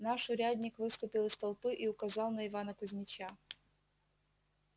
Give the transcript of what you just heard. наш урядник выступил из толпы и указал на ивана кузмича